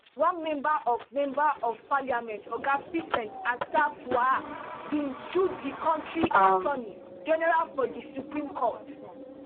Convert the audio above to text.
one member of member of parliament oga vincent assafuah bin sue di kontri attorney general for di supreme court